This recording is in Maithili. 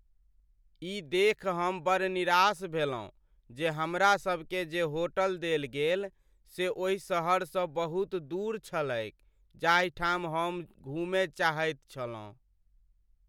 ई देखि हम बड़ निराश भेलहुँ जे हमरासभकेँ जे होटल देल गेल से ओहि सहरसँ बहुत दूर छलैक जाहिठाम हम घूमय चाहैत छलहुँ।